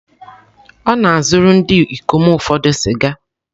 Ọ na-azụrụ ndị ikom ụfọdụ sịga.